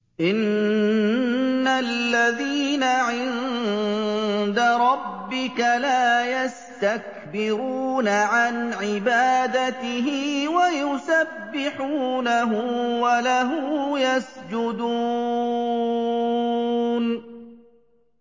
إِنَّ الَّذِينَ عِندَ رَبِّكَ لَا يَسْتَكْبِرُونَ عَنْ عِبَادَتِهِ وَيُسَبِّحُونَهُ وَلَهُ يَسْجُدُونَ ۩